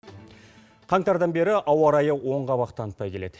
қаңтардан бері ауа райы оң қабақ танытпай келеді